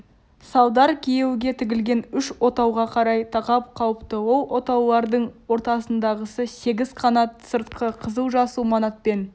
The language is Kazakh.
салдар күйеуге тігілген үш отауға қарай тақап қалыпты ол отаулардың ортадағысы сегіз қанат сырты қызыл-жасыл манатпен